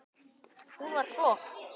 Hún var flott.